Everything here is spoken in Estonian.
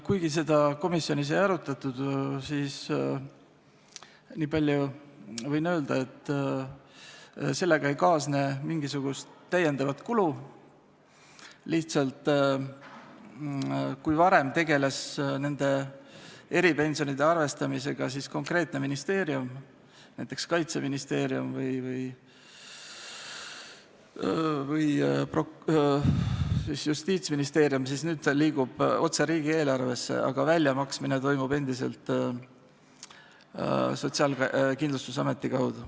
Kuigi seda komisjonis ei arutatud, võin niipalju öelda, et sellega ei kaasne mingisugust lisakulu, lihtsalt kui varem tegeles eripensionide arvestamisega konkreetne ministeerium, näiteks Kaitseministeerium või Justiitsministeerium, siis nüüd liigub see raha otse riigieelarvesse, aga väljamaksmine toimub endiselt Sotsiaalkindlustusameti kaudu.